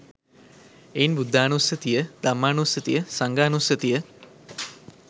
එයින් බුද්ධානුස්සතිය, ධම්මානුස්සතිය, සංඝානුස්සතිය